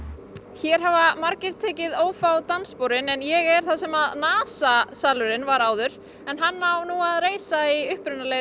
hér hafa margir tekið ófá danssporin en ég er þar sem NASA salurinn var áður en hann á að reisa í